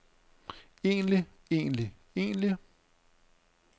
egentlig egentlig egentlig